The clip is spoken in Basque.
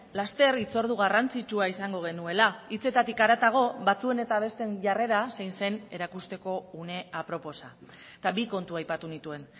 laster hitzordu garrantzitsua izango genuela hitzetatik haratago batzuen eta besteen jarrera zein zen erakusteko une aproposa eta bi kontu aipatu nituen